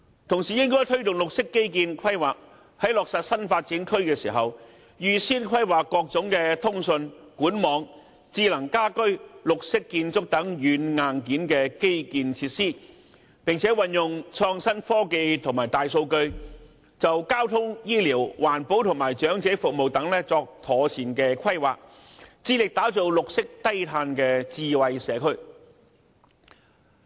同時，應該推動綠色基建規劃，在落實新發展區時，預先規劃各種通訊、管網、智能家居、綠色建築等軟、硬件基建設施，並運用創新科技和大數據，就交通、醫療、環保和長者服務等作妥善規劃，致力打造綠色低碳的智慧社區。